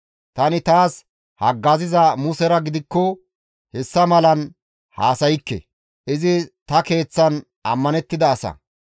Tani taas haggaziza Musera gidikko hessa malan haasaykke; izi ta keeththan ammanettida asa.